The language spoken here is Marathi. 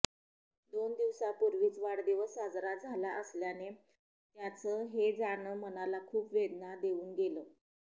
दोन दिवसांपूर्वीच वाढदिवस साजरा झाला असल्याने त्यांचं हे जाणं मनाला खूप वेदना देऊन गेलं